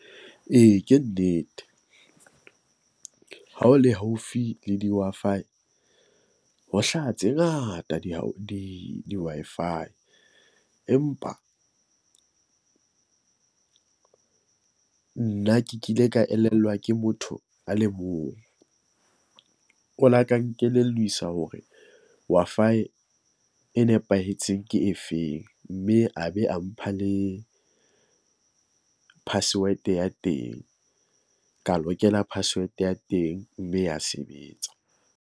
E, ke nnete, ha o le haufi le di-Wi-Fi ho hlaha tse ngata di di di-Wi-Fi. Empa nna ke kile ka elellwa ke motho a le mong. O la ka nkelelliswa hore Wi-Fi e nepahetseng ke efeng. Mme a be a mpha le password-e ya teng, ka lokela password ya teng, mme ya sebetsa.